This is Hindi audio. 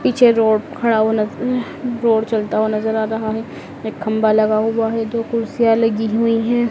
पीछे रोड खड़ा हुआ रोड चलता हुआ नजर आ रहा है एक खंभा लगा हुआ है दो कुर्सियां लगी हुई है।